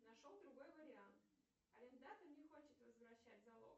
нашел другой вариант арендатор не хочет возвращать залог